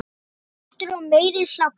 Hlátur og meiri hlátur.